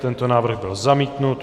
Tento návrh byl zamítnut.